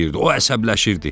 O əsəbləşirdi.